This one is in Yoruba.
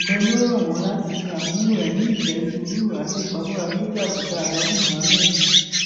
bẹẹ ló rọ wọn láti ṣe àmúlò ẹmí ìfẹ sùúrù àti ìpamọra tó jẹ àbùdá àǹòbí muhammed